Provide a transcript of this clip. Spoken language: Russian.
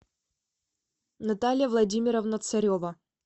наталья владимировна царева